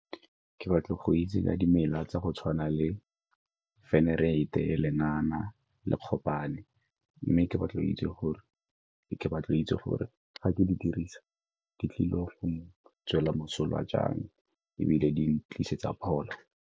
Ke batla go itse ka dimela tsa go tshwana le , le lengana le kgopane, mme ke batla go itse gore ga ke di dirisa di tlile go ntswela mosola jang ebile di tlisetsa pholo.